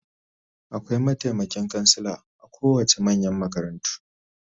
Akwai mataimakin kansila a kowace manyan makarantu